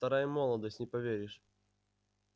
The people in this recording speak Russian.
вторая молодость не поверишь